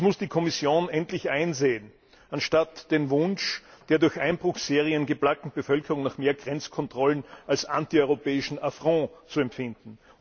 Das muss die Kommission endlich einsehen, anstatt den Wunsch der durch Einbruchserien geplagten Bevölkerung nach mehr Grenzkontrollen als antieuropäischen Affront zu empfinden.